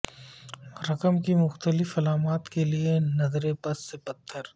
رقم کی مختلف علامات کے لئے نظر بد سے پتھر